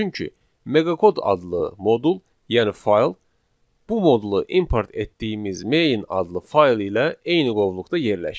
Çünki meqakod adlı modul, yəni fayl bu modulu import etdiyimiz main adlı fayl ilə eyni qovluqda yerləşir.